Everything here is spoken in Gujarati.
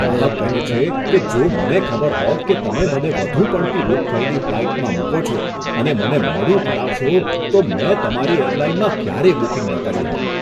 ગ્રાહક કહે છે કે, જો મને ખબર હોત કે તમે મને વધુ પડતી બુક થયેલી ફ્લાઇટમાં મૂકો છો અને મને મોડું કરાવશો, તો મેં તમારી એરલાઇનમાં ક્યારેય બુકિંગ ન કર્યું હોત.